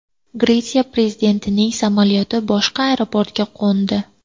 Gretsiya prezidentining samolyoti boshqa aeroportga qo‘ndi.